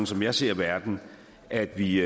som jeg ser verden at vi